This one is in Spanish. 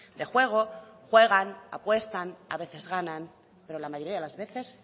de juego juegan apuestan a veces ganan pero la mayoría de las veces